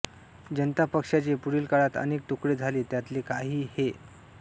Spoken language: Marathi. जनता पक्षाचे पुढील काळात अनेक तुकडे झाले त्यांतले काही हे